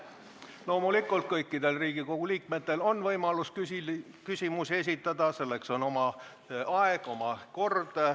Loomulikult, kõikidel Riigikogu liikmetel on võimalik küsimusi esitada, selleks on oma aeg ja oma kord.